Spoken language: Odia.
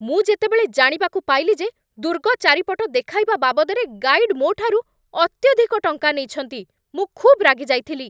ମୁଁ ଯେତେବେଳେ ଜାଣିବାକୁ ପାଇଲି ଯେ ଦୁର୍ଗ ଚାରିପଟ ଦେଖାଇବା ବାବଦରେ ଗାଇଡ୍ ମୋ'ଠାରୁ ଅତ୍ୟଧିକ ଟଙ୍କା ନେଇଛନ୍ତି, ମୁଁ ଖୁବ୍ ରାଗିଯାଇଥିଲି ।